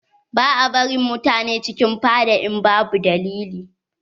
Ba a barin mutane cikin fada in babu dalili.